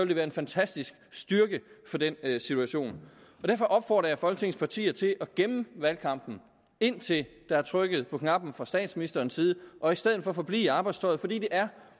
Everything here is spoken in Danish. det være en fantastisk styrke for den situation derfor opfordrer jeg folketingets partier til at gemme valgkampen indtil der er trykket på knappen fra statsministerens side og i stedet forblive i arbejdstøjet fordi det er